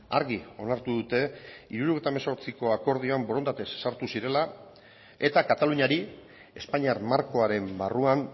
argi onartu dute hirurogeita hemezortziko akordioan borondatez sartu zirela eta kataluniari espainiar markoaren barruan